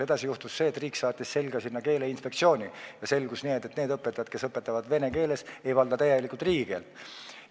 Edasi juhtus see, et riik saatis sinna selga Keeleinspektsiooni ja selgus, et need õpetajad, kes õpetavad vene keeles, ei valda täielikult riigikeelt.